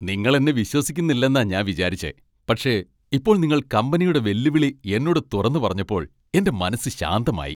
നിങ്ങൾ എന്നെ വിശ്വസിക്കുന്നില്ലെന്നാ ഞാൻ വിചാരിച്ചെ, പക്ഷേ ഇപ്പോൾ നിങ്ങൾ കമ്പനിയുടെ വെല്ലുവിളി എന്നോട് തുറന്നു പറഞ്ഞപ്പോൾ എന്റെ മനസ്സ് ശാന്തമായി .